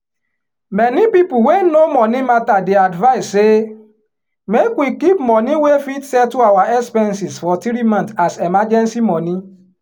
many people wey know money matter dey advice say make we keep money wey fit settle our expenses for three month as emergency money.